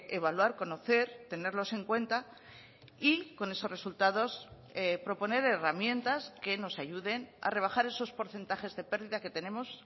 evaluar conocer tenerlos en cuenta y con esos resultados proponer herramientas que nos ayuden a rebajar esos porcentajes de pérdida que tenemos